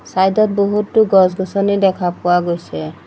Side ত বহুতো গছ-গছনি দেখা পোৱা গৈছে।